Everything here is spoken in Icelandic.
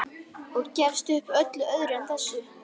Og gefist upp á öllu öðru en þessu.